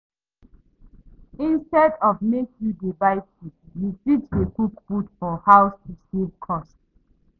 Instead of make you dey buy food, you fit dey cook food for house to save cost